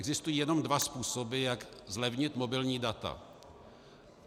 Existují jenom dva způsoby, jak zlevnit mobilní data.